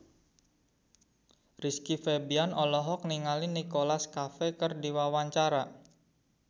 Rizky Febian olohok ningali Nicholas Cafe keur diwawancara